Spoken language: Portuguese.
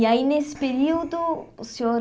E aí nesse período o senhor...